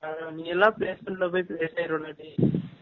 நீ எல்லாம் placement ல போய் place அயிருவ டேய்